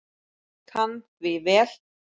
Kann því vel.